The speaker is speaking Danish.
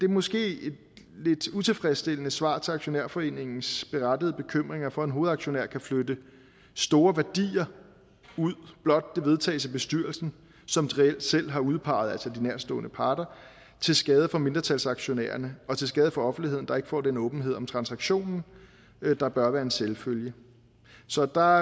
måske et lidt utilfredsstillende svar til aktionærforeningens berettigede bekymring for at en hovedaktionær kan flytte store værdier ud blot det vedtages af bestyrelsen som de reelt selv har udpeget altså de nærtstående parter til skade for mindretalsaktionærerne og til skade for offentligheden der ikke får den åbenhed om transaktionen der bør være en selvfølge så der